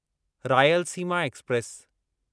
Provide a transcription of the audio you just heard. Rayalaseema express